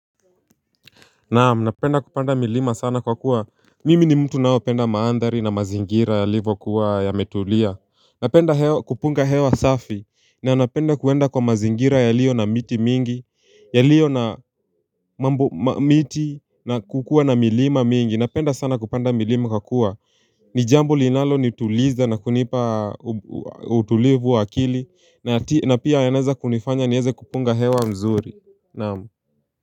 Naam, napenda kupanda milima sana kwa kuwa, mimi ni mtu naopenda maandhari na mazingira yalivokuwa yametulia. Napenda kupunga hewa safi, na napenda kuenda kwa mazingira yalio na miti mingi, yalio na miti na kukuwa na milima mingi, napenda sana kupanda milima kwa kuwa nijambo linalonituliza na kunipa utulivu wa akili, na pia yanaweza kunifanya niweze kupunga hewa mzuri, naam.